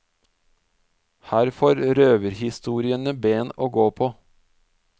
Her får røverhistoriene ben å gå på.